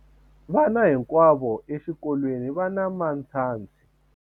vana hinkwavo exikolweni va na matshansi